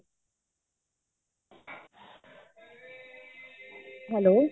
hello